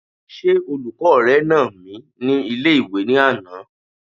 Ṣé olùkọ́ rẹ nà mí ní ilé-ìwé ní àná?